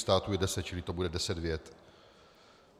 Států je deset, čili to bude deset vět.